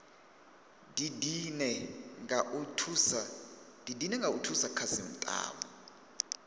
didine nga u thusa khasitama